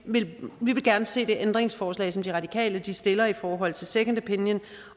vil se det ændringsforslag som de radikale stiller i forhold til second opinion